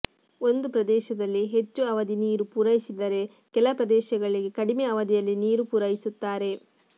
ಒಂದು ಪ್ರದೇಶದಲ್ಲಿ ಹೆಚ್ಚು ಅವಧಿ ನೀರು ಪೂರೈಸಿದರೆ ಕೆಲ ಪ್ರದೇಶಗಳಿಗೆ ಕಡಿಮೆ ಅವಧಿಯಲ್ಲಿ ನೀರು ಪೂರೈಸುತ್ತಾರೆ